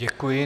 Děkuji.